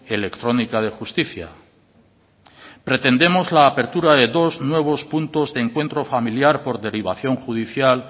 electrónica de justicia pretendemos la apertura de dos nuevos puntos de encuentro familiar por derivación judicial